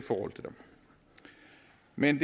men